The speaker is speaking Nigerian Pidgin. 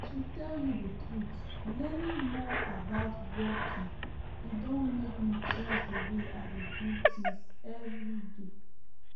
to tell you the truth learning more about walking e don make me change the way i dey do things everyday